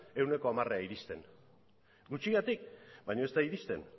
ehuneko hamarera iristen gutxigatik baina ez da iristen